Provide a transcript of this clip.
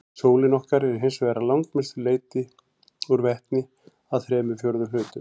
Sólin okkar er hins vegar að langmestu leyti úr vetni, að þremur fjórðu hlutum.